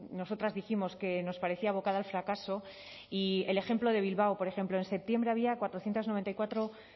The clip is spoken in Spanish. nosotras dijimos que nos parecía abocada al fracaso y el ejemplo de bilbao por ejemplo en septiembre había cuatrocientos noventa y cuatro